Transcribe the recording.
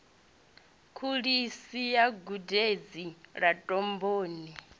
kholishi ya gudedzi ḽa domboni